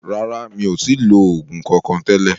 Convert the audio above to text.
Rárá, mi ò tí lo oògùn kankan tẹ́lẹ̀